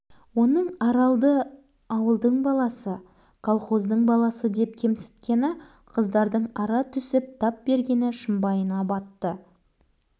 оның аралды ауылдың баласы колхоздың баласыдеп кемсіткені қыздарына ара түсіп тап бергені шымбайына батқан